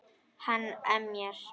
Hann emjar.